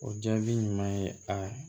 O jaabi ɲuman ye a